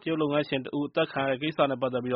တရုတ်လုပ်ငန်းရှင်တဦးအသတ်ခံရတဲ့ကိစ္စနဲ့ပက်သက်ပြီး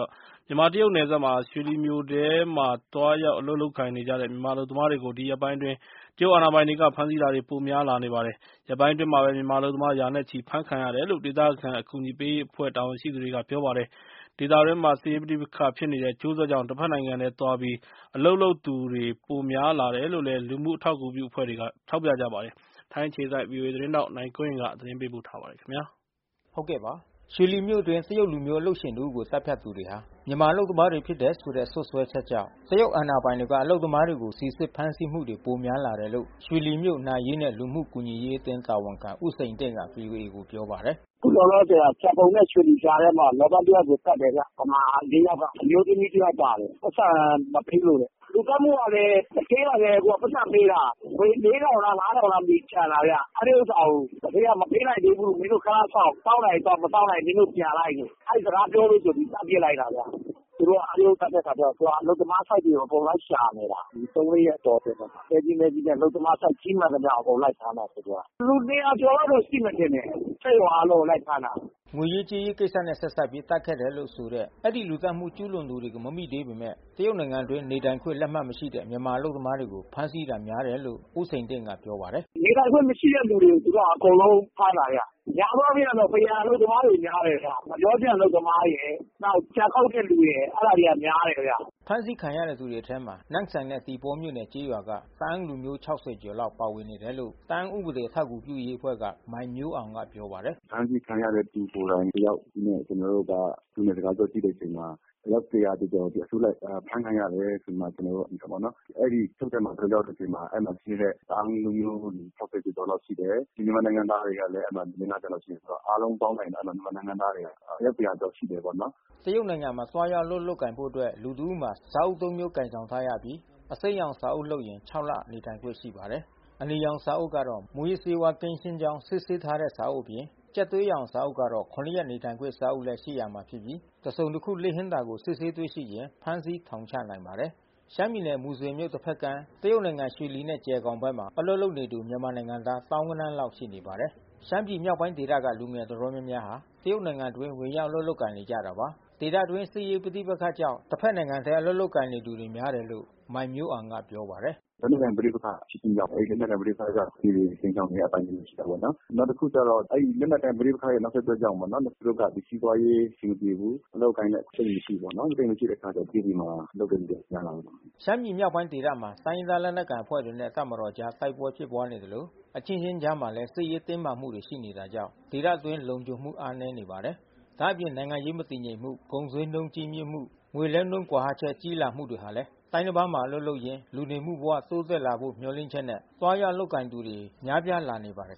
မြန်မာ-တရုတ်နယ်စပ် ရွှေလီမြို့ထဲမှာ သွားရောက် အလုပ် လုပ်ကိုင်နေကြတဲ့ မြန်မာအလုပ်သမားတွေကို ဒီရက်ပိုင်းအတွင်း တရုတ်အာဏာပိုင်တွေက ဖမ်းဆီးတာတွေ ပိုများလာပါတယ်။ ရက်ပိုင်းအတွင်းမှာပဲ မြန်မာအလုပ်သမား ရာနဲ့ချီပြီး အဖမ်းခံရတယ်လို့ ဒေသခံ အကူအညီပေးရေးအဖွဲ့ တာဝန်ရှိသူတွေက ပြောပါတယ်။ ဒေသတွင်းမှာ စစ်ရေးပဋိပက္ခဖြစ်နေတဲ့ အကျိုးဆက်ကြောင့် တဖက်နိုင်ငံထဲသွားပြီး အလုပ်လုပ်သူတွေ ပိုများလာ တယ်လို့လည်း လူမှုအထောက်ကူပြုအဖွဲ့တွေက ထောက်ပြကြပါတယ်။ ထိုင်းအခြေစိုက် ဗွီအိုအေသတင်းထောက် နိုင်ကွန်းအိန်က သတင်းပေးပို့ထားပါတယ်။ ရွှေလီမြို့အတွင်းမှာ တရုတ်လူမျိုး အလုပ်ရှင်တဦးကို သတ်ဖြတ်သူတွေဟာ မြန်မာအလုပ်သမားတွေဖြစ်တယ်ဆိုတဲ့ စွပ်စွဲချက်ကြောင့် တရုတ်အာဏာပိုင်တွေက အလုပ်သမားတွေကိုစီစစ်ဖမ်းဆီးမှုတွေ များလာတယ်လို့ ရွှေလီမြို့ နာရေးနဲ့လူမှုကူညီရေးအသင်း တာဝန်ခံဦးစိန်တင့်ကဗွီအိုအေကိုပြောပါတယ်။ “လောလောဆယ် ကျန်ပုံနဲ့ရွှေလီကြားထဲမှာ လောပန်တယောက်ကိုသတ်တယ်ခင်ဗျ။ ဗမာ ယောက်က အမျိုး သမီးတယောက်ပါတယ်။ ပိုက်ဆံမပေးလို့တဲ့။ လူသတ်မှုကလဲ သူဌေးကလဲသူကပိုက်ဆံပေးတာ ငွေ လား လားမသိဘူးကျန်တာဗျ။ အဲဒီဥစ္စာကို သူဌေးကမပေးနိုင်သေးဘူး။ မင်းတို့ခနစောင့်။ စောင့်နိုင်ရင်စောင့် မစောင့်နိုင်ရင်မင်းတို့ပြန်လိုက်လို့။ အဲဒီစကားပြောလို့ဆိုပြီးသတ်ပစ်လိုက်တာဗျ။ သူတို့ကအဲဒီလိုသတ်တဲ့ အခါ ကျတော့ သူတို့ကအလုပ်သမားဆိုက်တွေကိုအကုန်လုံးလိုက်ရှာနေတာ။ ဒီသုံးလေးရက်တောအတွင်းမှာ။ သဲကြီး မဲကြီးနဲ့ အလုပ်သမားဆိုက်ကြီးမှန်သမျှကိုလိုက်ဖမ်းနေတာ။ လူ ကျော်လောက်တော့ရှိမယ်ထင်တယ်။ စက်ရုံ အားလုံးကိုလိုက်ဖမ်းတာ။” ငွေရေးကြေးရေးကိစ္စနဲ့ဆက်စပ်ပြီး သတ်ခဲ့တာလို့ဆိုတဲ့ အဲဒီ လူသတ်မှုကျူးလွန်သူတွေကို မမိသေးပေမဲ့ တရုတ်နိုင်ငံအတွင်းနေထိုင်ခွင့်လက်မှတ်မရှိတဲ့ မြန်မာအလုပ်သမားတွေကိုဖမ်းဆီးတာများတယ်လို့ ဦးစိန်တင့် က ပြောပါတယ်။ “နေထိုင်ခွင့်မရှိတဲ့သူအကုန်လုံးကို သူတို့ကဖမ်းတာဗျ။ များသောအားဖြင့်ကတော့ပန်းရံအလုပ်သမားတွေဗျ။ ငှက်ပျောခြံအလုပ်သမားရယ်။ နောက်ကြံခုတ်တဲ့တဲ့လူရယ်။ အဲတာတွေများတယ်ခင်ဗျ။” ဖမ်းဆီးခံထားရသူတွေထဲမှာ နမ့်ဆန်နဲ့ သီပေါမြို့နယ်ကျေးရွာတွေက တအာင်းလူမျိုးအယောက် ၆၀ ကျော် လောက်ပါဝင်နေတယ်လို့ တအာင်းဥပဒေအထောက်အကူပြုရေးအဖွဲ့ က မိုင်းမျိုးအောင်ကပြောပါတယ်။ “အဖမ်းဆီးခံရတဲ့သူကိုယ်တိုင်တယောက်နဲ့ ကျွန်တော်တို့ကသူနဲ့စကားပြောကြည့်တဲ့အခါမှာ အယောက် ကျော်အစုလိုက်အဖမ်းခံရတယ်ဆိုပြီးမှ ကျွန်တော်တို့သိတယ်ပေါ့နော်။ အဲဒီအချုပ်ထဲမှာကျွန်တော်တို့ ရောက်တဲ့ အချိန်မှာ အဲဒီမှာရှိတဲ့တအာင်းလူမျိုး ကျော်ကျော်လောက်ရှိတယ်။ မြန်မာနိုင်ငံသားတွေကလဲ အဲဒီမှာ လေး ငါးဆယ်လောက်တော့ရှိမှာပေါ့။ အားလုံးပေါင်းလိုက်မယ်ဆိုရင်တော့ မြန်မာနိုင်ငံသားတွေအယောက် လောက် ရှိတယ်ပေါ့နော်။” တရုတ်နိုင်ငံမှာ သွားရောက်အလုပ်လုပ်ကိုင်ဖို့အတွက် လူတဦးမှာ စာအုပ် ၃ မျိုးကိုင်ဆောင်ထားရပြီး အစိမ်းရောင် စာအုပ်လုပ်ရင် ၆ လနေထိုင်ခွင့်ရှိပါတယ်။ အနီရောင်စာအုပ်ကတော့ မူးယစ်ဆေးဝါးကင်းရှင်းကြောင်း စစ်ဆေးထား တဲ့ စာအုပ်အပြင် ကြက်သွေးရောင်စာအုပ်ကတော့ ၇ ရက်နေခွင့်စာအုပ်လဲရှိရမှာဖြစ်ပြီး တစုံ တခု လစ်ဟင်းတာကို စစ်ဆေးတွေ့ရှိရင် ဖမ်းဆီးထောင်ချနိုင်ပါတယ်။ ရှမ်းပြည်နယ် မူဆယ်မြို့တဖက်ကမ်း တရုတ်နိုင်ငံရွှေလီနဲ့ ဂျယ်ဂေါင်ဘက်မှာ အလုပ်လုပ်နေတဲ့သူမြန်မာနိုင်ငံသား သောင်းဂဏန်းလောက်ရှိနေပါတယ်။ ရှမ်းပြည်မြောက်ပိုင်းဒေသဘက်က လူငယ်တော်တော်များများဟာ တရုတ်နိုင်ငံအတွင်းဝင်ရောက်အလုပ် လုပ် ကိုင်နေကြတာပါ။ ဒေသအတွင်းစစ်ရေးပဋိပက္ခကြောင့်တဖက်နိုင်ငံထဲအလုပ်လုပ်ကိုင်နေသူတွေများတယ်လို့ မိုင်းမျိုးအောင်က ပြောပါတယ်။ “လက်နက်ကိုင်ပဋိပက္ခဖြစ်ခြင်းကြောင့် အဲဒီလက်နက်ကိုင်ပဋိပက္ခကလူတွေကိုခြိမ်းခြောက်နေတဲ့အပိုင်းတွေရှိနေတာ ပေါ့နော်။ နောက်တခုကျတော့အဲဒီလက်နက်ကိုင်ပဋိပက္ခနောက်ဆက်တွဲကြောင့် ပေါ့နော်။ လူမှုဒုက္ခ စီးပွါးရေးအဆင် မပြေဘူး။ အလုပ်အကိုင်လဲအခွင့်မရှိဘူးပေါ့နော်။ အခွင့်မရှိတဲ့အခါကျတော့တရုတ်ပြည်မှာ လုပ်ကိုင်နေတာများ တာ ပေါ့နော်။” ရှမ်းပြည်မြောက်ပိုင်းဒေသမှာ တိုင်းရင်းသားလက်နက်ကိုင်အဖွဲ့တွေနဲ့တပ်မတော်အကြား တိုက်ပွဲဖြစ်ပွါးနေသလို အချင်းချင်းအကြားမှာလဲ စစ်ရေးတင်းမာမှုတွေရှိနေတာကြောင့် ဒေသအတွင်းလုံခြုံမှု အားနဲနေပါတယ်။ ဒါ့အပြင် နိုင်ငံရေးမတည်ငြိမ်မှု ကုန်ဈေးနှုန်းကြီးမြင့်မှု ငွေလဲနှုန်းကွာဟချက်ကြီးလာမှုတွေဟာလဲ တိုင်းတပါးမှာ အလုပ်လုပ်ရင်း လူနေမှုဘဝတိုးတက်လာဖို့မျှော်လင့်ချက်နဲ့ သွားရောက်အလုပ်ကိုင်သူတွေ များပြားလာနေ ပါတယ်